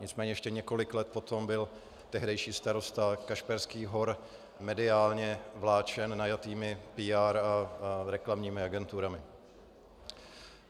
Nicméně ještě několik let potom byl tehdejší starosta Kašperských Hor mediálně vláčen najatými PR a reklamními agenturami.